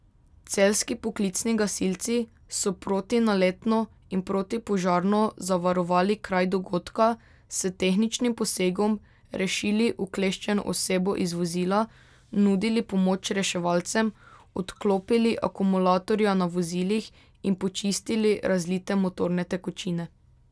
Celjski poklicni gasilci so protinaletno in protipožarno zavarovali kraj dogodka, s tehničnim posegom rešili ukleščeno osebo iz vozila, nudili pomoč reševalcem, odklopili akumulatorja na vozilih in počistili razlite motorne tekočine.